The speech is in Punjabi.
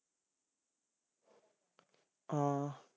ਹਾਂ